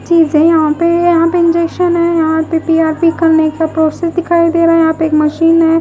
चीज है यहां पे यहां पे इंजेक्शन है यहां पे पी_आर_पी करने का प्रोसेस दिखाई दे रहा है यहां पे एक मशीन है।